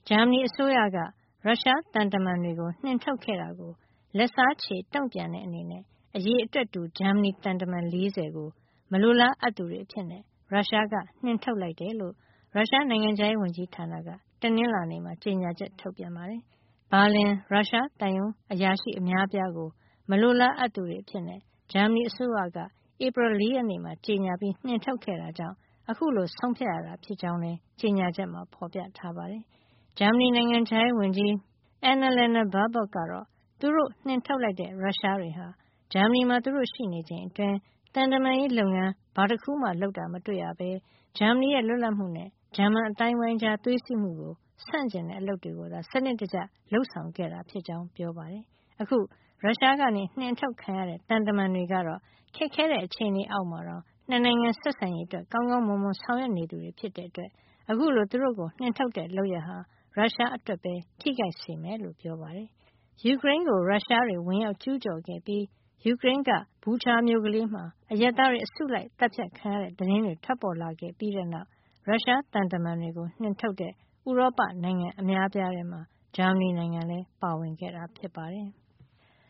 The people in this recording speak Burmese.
ဂျာမနီအစိုးရက ရုရှားသံတမန်တွေကို နှင်ထုတ်ခဲ့တာကို လက်စားချေတုန့်ပြန်တဲ့ အနေနဲ့ အရေအတွက်တူ ဂျာမနီသံတမန် ၄၀ ကို မလိုလား အပ်သူတွေအဖြစ် ရုရှားက နှင်ထုတ်လိုက်တယ်လို့ ရုရှားနိုင်ငံခြားရေးဝန်ကြီးဌာနက တနင်္လာနေ့မှာ ကြေညာချက် ထုတ်ပြန်ပါတယ်။ ဘာလင် ရုရှားသံရုံး အရာရှိ အများအပြားကို မလိုလားအပ်သူတွေ အဖြစ် ဂျာမဏီအစိုးရက ဧပြီလ ၄ ရက်နေ့က ကြေညာပြီး နှင်ထုတ်ခဲ့ တာကြောင့် ခုလို ဆုံးဖြတ်ရတာဖြစ်ကြောင်းလည်း ကြေညာချက်မှာ ဖေါ်ပြထားပါတယ်။ ဂျာမနီ နိုင်ငံခြားရေးဝန်ကြီး Annalena Baerbock ကတော့ သူတို့ နှင်ထုတ်လိုက်တဲ့ ရုရှားတွေဟာ ဂျာမနီမှာ သူတို့ရှိနေချိန်အတွင်း သံတမန်ရေးလုပ်ငန်း ဘာမှ လုပ်တာ မတွေ့ရပဲ ဂျာမနီရဲ့ လွတ်လပ်မှုနဲ့ ဂျာမန်အသိုင်းဝိုင်းကြား သွေးစည်းမှုကို ဆန့်ကျင်တဲ့ အလုပ်တွေ ကိုသာ စံနစ်တကျ လုပ်ဆောင်ခဲ့တာ ဖြစ်ကြောင်း ပြောပါတယ်။ အခု ရုရှားကနေ နှင်ထုတ်တာခံရတဲ့ သံတမန်တွေကတော့ ခက်ခဲတဲ့ အခြေနေအောက်မှာတောင် ၂ နိုင်ငံ ဆက်ဆံရေးအတွက် ကောင်းကောင်းမွန်မွန်ဆောင်ရွက်နေသူတွေဖြစ်တဲ့အတွက် အခုလို သူတို့ကို နှင်ထုတ်တဲ့ လုပ်ရပ်ဟာ ရုရှားအတွက်ပဲ ထိခိုက်စေမယ်လို့လည်း ပြောပါတယ်။ ယူကရိန်းကို ရုရှားတွေ ဝင်ရောက်ကျူးကျော်ခဲ့ပြီး ယူကရိန်းက Bucha မြို့ကလေးမှာ အရပ်သားတွေ အစုလိုက်အသတ်ဖြတ်ခံရတဲ့ သတင်းတွေ ထွက်ပေါ်လာခဲ့ပြီးနောက်မှာ ရုရှားသံတမန်တွေကို နှင်ထုတ်တဲ့ ဥရောပနိုင်ငံအများအပြားထဲမှာ ဂျာမနီလည်း ပါဝင်ခဲ့တာ ဖြစ်ပါတယ်။